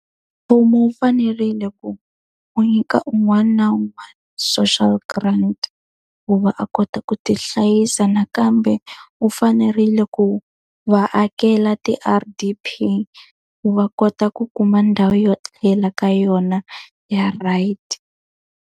Mfumo wu fanerile ku u nyika un'wana na un'wana social grant, ku va a kota ku ti hlayisa. Nakambe wu fanerile ku va akela ti-R_D_P ku va kota ku kuma ndhawu yo etlela ka yona, ya right.